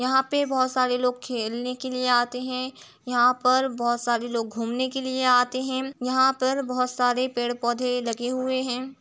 यहाँ पे बहोत सारे लोग खेलने के लिए आते हैं। यहाँ पर बहोत सारे लोग घूमने के लिए आते हैं। यहाँ पर बहोत सारे पेड़-पौधे लगे हुए हैं।